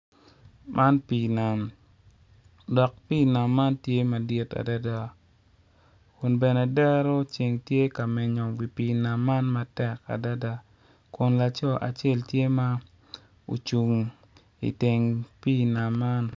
Man pii nam dok pii nam man tye madit adada kun bene dero ceng tye ka menyo wi pii man matek adada kun laco acel tye ma ocung i nget pii nam man.